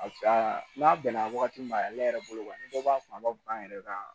n'a bɛnna wagati ma a ne yɛrɛ bolo kɔni ni dɔ b'a faamu a b'a fɔ k'an yɛrɛ ka